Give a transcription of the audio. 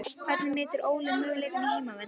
Hvernig metur Óli möguleikana á heimavelli?